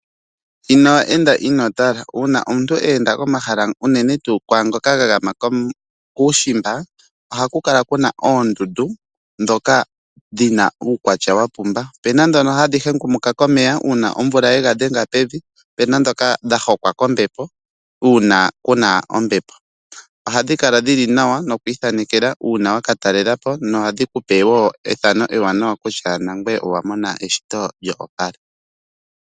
Uuna omuntu eenda komahala unene ngoka ga gama kuushimba ohaku kala kuna oondundu ndhoka dhina uukwatya wapumba. Opena ndhoka hadhi hengumuka komeya uuna omvula yega dhenga pevi, opena ndhoka dha hokwa kombepo uuna kuna ombepo. Ohadhi kala dhili nawa nokwii thanekela uuna wakatalelapo na ohadhi kupe woo ethano ewaanawa kutya naangweye owamona eshito lyo opala.